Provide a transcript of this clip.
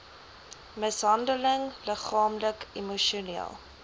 mishandeling liggaamlik emosioneel